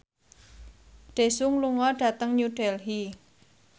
Daesung lunga dhateng New Delhi